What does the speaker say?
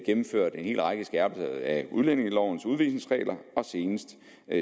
gennemført en hel række skærpelser af udlændingelovens udvisningsregler og senest